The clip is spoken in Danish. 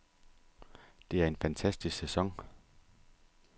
Det er en fantastisk sæson.